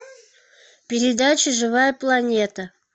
передача живая планета